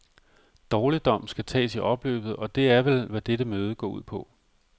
Dårligdom skal tages i opløbet, og det er vel, hvad dette møde går ud på.